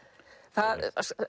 það